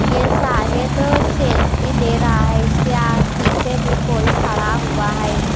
यह शायद सेल्फी ले रहा है इसकेआ पीछे भी कोई खड़ा हुआ है।